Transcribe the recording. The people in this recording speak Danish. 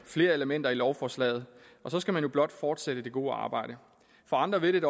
flere elementer i lovforslaget og så skal man jo blot fortsætte det gode arbejde for andre vil